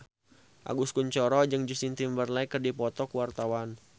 Agus Kuncoro jeung Justin Timberlake keur dipoto ku wartawan